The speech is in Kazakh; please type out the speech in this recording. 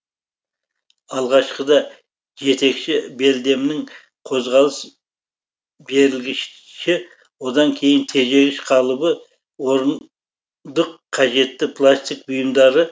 алғашқыда жетекші белдемнің қозғалыс берілгіші одан кейін тежегіш қалыбы орындық қажетті пластик бұйымдары